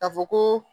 Ka fɔ ko